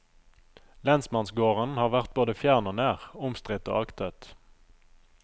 Lensmannsgården har vært både fjern og nær, omstridt og aktet.